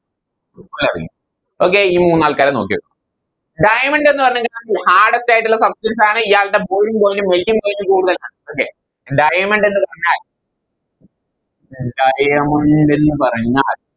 Okay ഈ മൂന്നാൾക്കാരെ നോക്കി വെക്കുവാ Diamond എന്ന് പറഞ്ഞയിഞ്ഞ Hardest ആയിട്ടുള്ള Substance ആണ് ഇയാളുടെ Boiling point ഉം Melting point ഉം കൂടുതലാണ് okay Diamond എന്ന് പറഞ്ഞാൽ Diamond എന്ന് പറഞ്ഞാൽ